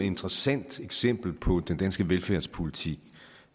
interessant eksempel på den danske velfærdspolitik i